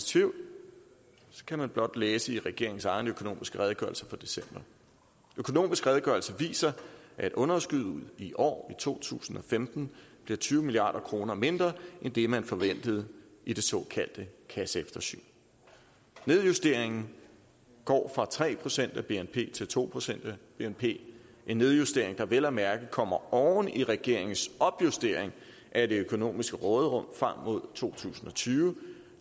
tvivl kan man blot læse i regeringens egen økonomisk redegørelse fra december økonomisk redegørelse viser at underskuddet i år to tusind og femten bliver tyve milliard kroner mindre end det man forventede i det såkaldte kasseeftersyn nedjusteringen går fra tre procent af bnp til to procent af bnp en nedjustering der vel at mærke kommer oven i regeringens opjustering af det økonomiske råderum frem mod to tusind og tyve